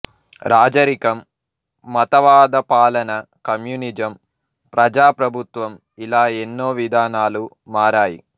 రాజరికం మతవాదపాలన కమ్యూనిజం ప్రజా ప్రభుత్వం ఇలా ఎన్నో విధానాలు మారాయి